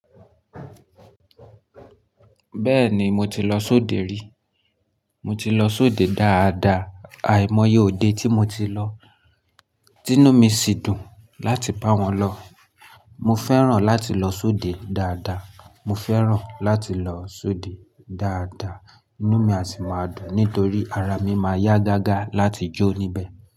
Bẹ́ẹ̀ni, mo ti lọ sóde rí. Mo ti lọ sóde dáadaa. Àìmọye òde tí mo ti lọ, inú mi sì dùn láti bá wọn lọ. Mo fẹ́ràn láti lọ sóde dáadáa. Mo fẹ́ràn láti lọ sóde dáadáa, inú mi a sì máa dùn nítorí ara mi máa yá gágá láti jó níbẹ̀.